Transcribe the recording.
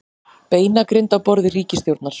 Beinagrind á borði ríkisstjórnar